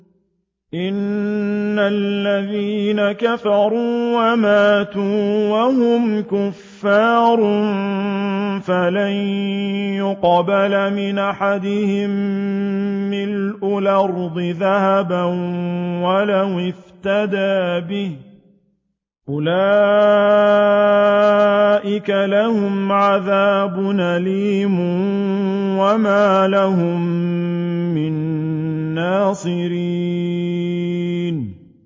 إِنَّ الَّذِينَ كَفَرُوا وَمَاتُوا وَهُمْ كُفَّارٌ فَلَن يُقْبَلَ مِنْ أَحَدِهِم مِّلْءُ الْأَرْضِ ذَهَبًا وَلَوِ افْتَدَىٰ بِهِ ۗ أُولَٰئِكَ لَهُمْ عَذَابٌ أَلِيمٌ وَمَا لَهُم مِّن نَّاصِرِينَ